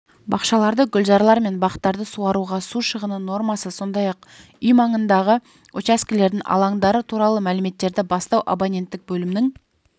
бақшаларды гүлзарлар мен бақтарды суаруға су шығыны нормасы сондай-ақ үй маңындағы учаскелерінің алаңдары туралы мәліметтерді бастау абоненттік бөлімінің